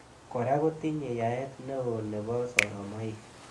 Kora kotinye yaet neo nebo soromoik.